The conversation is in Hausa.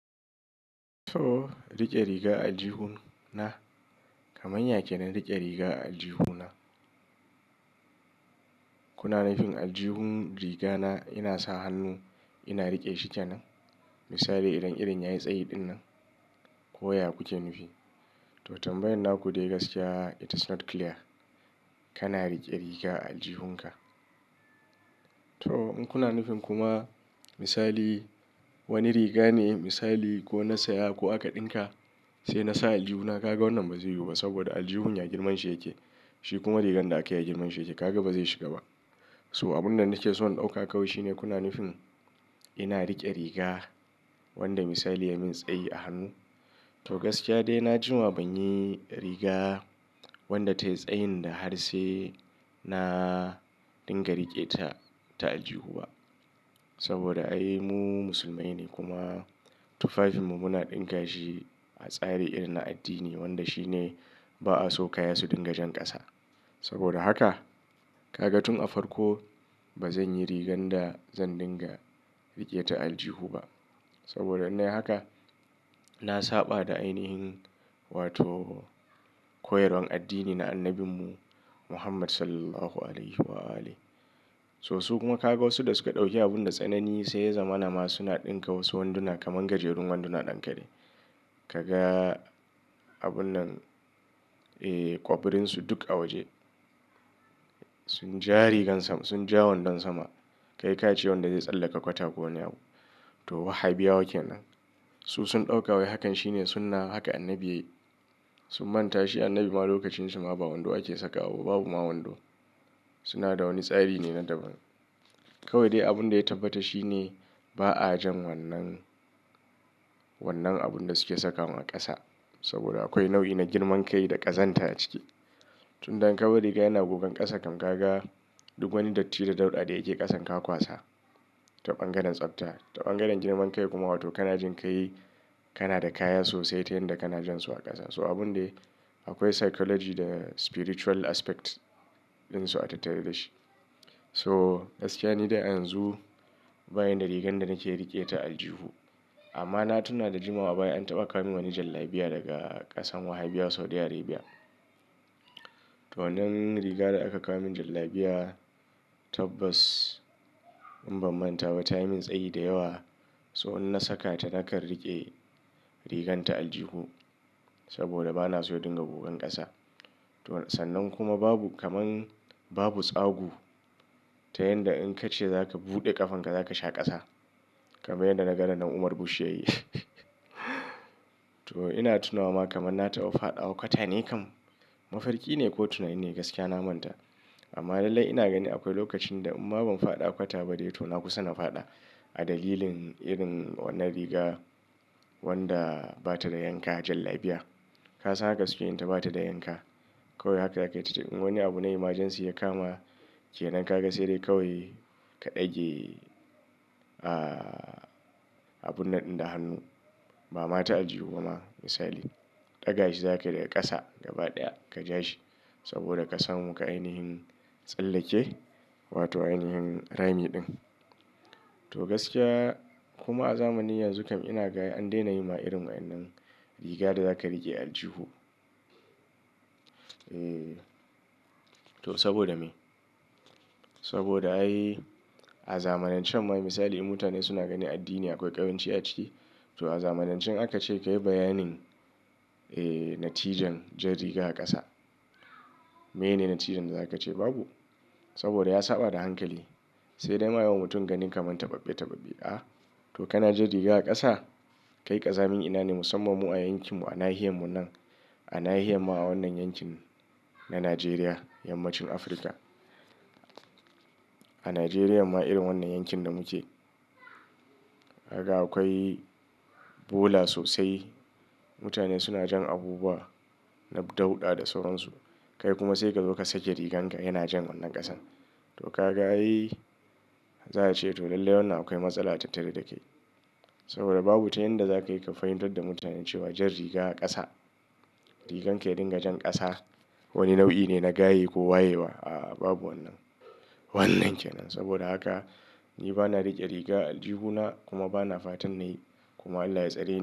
To rike riga a jihun na, kamar yake na rike riga a jihu na. Kuna nufin a jihun riga na ina sa hannu ina rike shi kenan? Misali idan irin ya yi tsayi dinnan ko ya kuce nufi. To tambayan naku dai gaskiya it is not clear kana rike riga a jihunka. To in kuna nufin kuma misali wani riga ne misali ko na saya ko aka ɗinka sai na sa a jihuna, kaga wannan ba zai yiwu ba saboda aljihun ya girman shi yake. Shi kuma rigar da aka yi girman shi yake. Kaga bazai shiga ba. So abun da nake so in ɗauka kawai shine kuna nufin ina rike riga wanda misali ya min tsayi a hannu. To gaskiya dai na jima ban yi riga wanda tayi tsayin da har sai na dinga rike ta, ta a jihu ba. Saboda ai mu musulmai ne kuma tufafinmu muna ɗinka shi a tsari irin na addini wanda shine ba'a so ka ya su dinga jan ƙasa. Saboda haka kaga tun a farko bazan yi rigar da zan dinga rike ta a jihu ba. Saboda in nayi haka, na saɓa da ainihin wato koyarwar addini na annabinmu Muhammad Sallallahu Alaihi Wa'alih So su kuma kaga wasu da suka ɗauki abun da tsanani sai zamanin ma suna ɗinka wasu wanduna kamar gajerun wanduna ɗan kare. Kaga abunnan, eh ƙwabrinsu duk a waje. Sun ja rigar sama, sun ja wandon sama. Kai ka ce wanda zai tsallaka kwata ko wane abu. To Wahabiya wake nan. Su sun ɗauka wai hakan shine sunna haka annabi yayi. Sun manta shi annabi ma lokacin shi ma ba wando ake saka waba, babu ma wando. Suna da wani tsari ne na daban. Kawai dai abun da ya tabbata shine ba a jan wannan, wannan abun da suke sakawa ƙasa. Saboda akwai nau'i na girman kai da ƙazanta a ciki. Tun in ka bari kaya na gogan ƙasa kam kaga duk wani datti da dauɗa da yake ƙasan ka kwasa. Ta ɓangaren tsabta, ta ɓangaren girman kai kuma wato kana jin kai kana da kaya sosai ta yanda kana jan su a ƙasa. So abun dai akwai psychology da spiritual aspect din su a tattare da shi. So gaskiya ni dai ayanzu bani da rigar da nake rike ta aljihu. Amma na tunna da jima a baya an taɓa ka min wani jallabiya daga ƙasan Wahabiya Saudi Arabia. To wannan rigar da aka ka min jallabiya tabbas in ban manta ba tayi min tsayi da yawa. So in na saka ta na kan rike rigar ta a jihu saboda bana so dinga gogan ƙasa. To sannan kuma babu kamar babu tsagu ta yanda in ka ce za ka buɗe ƙafanka za ka sha ƙasa. Kamar yadda na ga rannan Umar bush yayi. To ina tunawa ma kamar na taba faɗawa kwata ne kam. Mafarki ne ko tunani ne gaskiya na manta. Amma lallai ina gani akwai lokacin da in ma ban faɗa a kwata ba dai to na kusa na faɗa. A dalilin irin wannan riga wanda ba ta da yanka jallabiya. Ka san haka suke yin ta ba ta da yanka. Kawai haka akayi tati in wani abu na emergency ya kama ke nan kaga sai dai kawai ka dage, ah abun nan ɗinda hannu. Ba ma ta aljihu bama misali. Ɗaga shi za ka yi daga ƙasa gaba ɗaya ka ja shi saboda ka samu ka ainihin tsallake wato ainihin rami din. To gaskiya kuma a zamanin yanzu kam ina ga an daina yi ma irin wannan riga da za ka rike aljihu. Eeh. To saboda me? Saboda ai a zamanancen ma misali mutane suna ganin addini akwai ƙaranci a ciki. To a zamanance in aka ce ka yi bayanin, eh, natijan jan riga a ƙasa. Meyne natijan da za ka ce babu? Saboda ya saɓa da hankali. Sai dai ma ayi wa mutum ganin kamar taɓaɓɓe taɓaɓɓe. Aah. To ka na jan riga a ƙasa, kai ƙazamin ina ne musamman mu a yankin mu a nahiyan mu nan. A nahiya ma a wannan yankin na Najeriya yammacin Afirka. A Najeriya ma irin wannan yankin da muke. Kaga akwai bola sosai. Mutane suna jan abubuwa na dauɗa da sauransu. Kai kuma sai ka zo ka sake rigar ka yana jan wannan ƙasan. To kaga ayi, za a ce to lallai wannan akwai matsala tattare da kai. Saboda babu ta yanda za ka iya ka fahintar da mutanen cewa jan riga a ƙasa, rigar ke dinga jan ƙasa wani nau'i ne na gaye ko wayewa. Aah babu wannan, wannan kenan. Saboda haka ni bana rike riga a a jihuna kuma bana fatan nayi. Kuma Allah ya tsare ni.